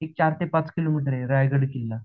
तिथून चार ते पाच किलोमीटर आहे, रायगड जिल्हा